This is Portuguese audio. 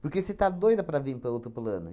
Porque você está doida para vim para outro plano.